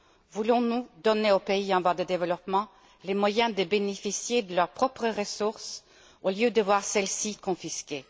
Voulons nous donner aux pays en voie de développement les moyens de bénéficier de leurs propres ressources au lieu de voir celles ci confisquées?